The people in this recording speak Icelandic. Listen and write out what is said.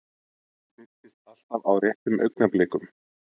Hún birtist alltaf á réttum augnablikum.